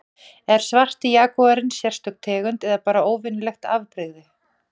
er svarti jagúarinn sérstök tegund eða bara óvenjulegt afbrigði